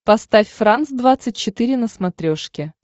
поставь франс двадцать четыре на смотрешке